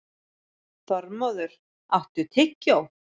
Þormóður, áttu tyggjó?